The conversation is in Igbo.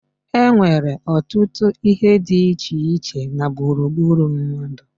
E nnwere ọtụtụ ihe di iche iche na gburugburu mmadu